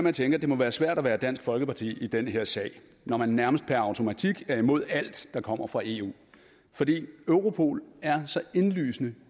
at tænke at det må være svært at være dansk folkeparti i den her sag når man nærmest per automatik er imod alt der kommer fra eu fordi europol er så indlysende